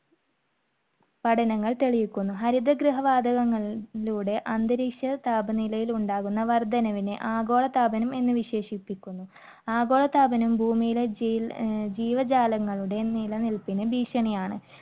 പഠനങ്ങൾ തെളിയിക്കുന്നു. ഹരിത ഗൃഹ വാതകങ്ങളിലൂടെ അന്തരീക്ഷ താപനിലയിൽ ഉണ്ടാകുന്ന വർദ്ധനവിനെ ആഗോളതാപനം എന്ന് വിശേഷിപ്പിക്കുന്നു. ആഗോളതാപനം ഭൂമിയിലെ ജീവ~ഏർ ജീവജാലങ്ങളുടെ നിലനിൽപ്പിന് ഭീക്ഷണിയാണ്.